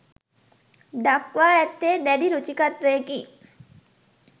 දක්වා ඇත්තේ දැඩි රුචිකත්වයකි.